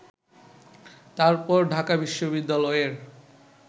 তারপর ঢাকা বিশ্ববিদ্যালয়ের